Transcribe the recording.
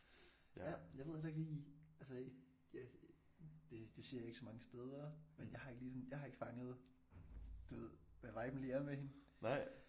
Ja jeg ved heller ikke lige altså jeg det det siger jeg ikke så mange steder men jeg har ikke lige sådan jeg har ikke fanget du ved hvad viben lige er med hende